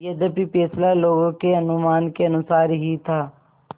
यद्यपि फैसला लोगों के अनुमान के अनुसार ही था